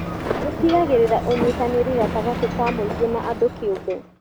Ũtigagĩrĩra ũnyitanĩri gatagatĩ ka mũingĩ na andũ kĩũmbe.